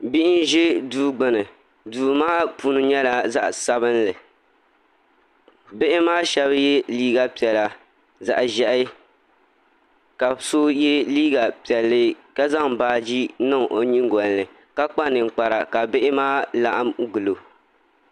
Bihi n ʒi duu gbuni duu maa puni nyɛla zaɣ sabinli bihi maa shab yɛ liiga piɛla zaɣ ʒiɛhi ka so yɛ liiga piɛlli ka zaŋ baaji niŋ o nyingoli ni ka kpa ninkpara ka bihi maa laɣam gilo